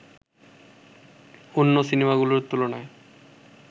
অন্য সিনেমাগুলোর তুলনায়